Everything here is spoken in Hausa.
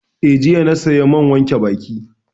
Eh, jiya na saya man wanke baki